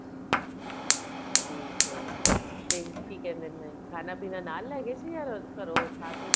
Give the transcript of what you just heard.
ਠੀਕ ਏ ਤੇ ਕੀ ਕਹਿੰਦੇ ਨੇ ਖਾਣਾ ਪੀਣਾ ਨਾਲ ਲੈ ਗਏ ਸੀ ਜਾ ਘਰੋ ਖਾ ਕੇ ਗਏ